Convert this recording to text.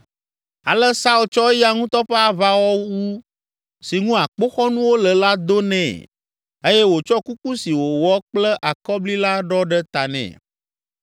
Ale Saul tsɔ eya ŋutɔ ƒe aʋawɔwu si ŋu akpoxɔnuwo le la do nɛ eye wòtsɔ kuku si wowɔ kple akɔbli la ɖɔ ɖe ta nɛ.